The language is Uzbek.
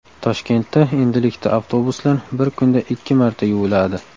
Toshkentda endilikda avtobuslar bir kunda ikki marta yuviladi.